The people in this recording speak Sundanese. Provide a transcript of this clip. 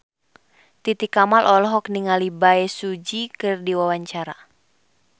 Titi Kamal olohok ningali Bae Su Ji keur diwawancara